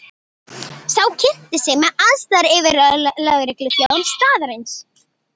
Sá kynnti sig sem aðstoðaryfirlögregluþjón staðarins.